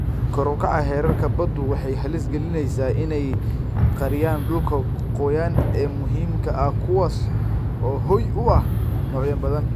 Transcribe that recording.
Kor u kaca heerarka baddu waxay halis galinaysaa in ay qariyaan dhulka qoyan ee muhiimka ah kuwaas oo hoy u ah noocyo badan.